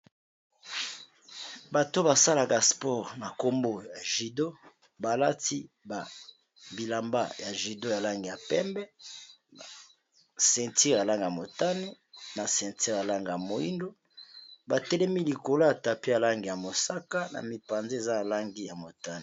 bato basalaka spore na nkombo ya gudo balati babilamba ya gudo yalange ya pembe na centure alange ya motane na centure alange ya moingo batelemi likolo ata pe alange ya mosaka na mipanze eza alangi ya motane